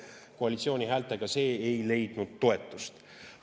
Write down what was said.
Koalitsiooni häältega see ei leidnud toetust.